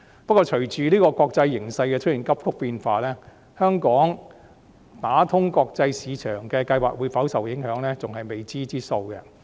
不過，隨着國際形勢出現急速變化，香港打通國際市場的計劃會否受影響，仍然是未知數。